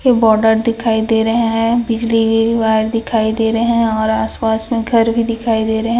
border दिखाई दे रहे है बिजली वायर दिखाई दे रहे है और आस-पास में घर भी दिखाई रहे --